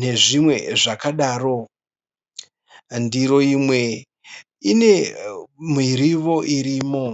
nezvimwe zvakadaro. Ndiro imwe ine mirivo irimo.